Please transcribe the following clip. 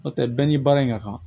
N'o tɛ bɛɛ ni baara in ka kan